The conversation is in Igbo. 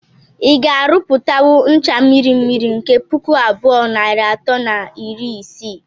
Ị ga - arụpụtanwụ ncha mmiri mmiri nke pụkụ abụọ nair atọ na iri isii